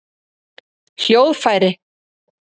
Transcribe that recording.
hljóðfæri